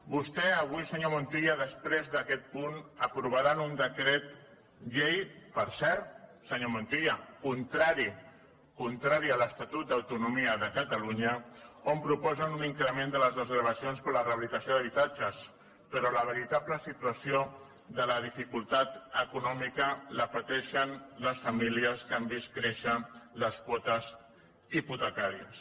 vostè avui senyor montilla després d’aquest punt aprovaran un decret llei per cert senyor montilla contrari contrari a l’estatut d’autonomia de catalunya on proposen un increment de les desgravacions per la rehabilitació d’habitatges però la veritable situació de la dificultat econòmica la pateixen les famílies que han vist créixer les quotes hipotecàries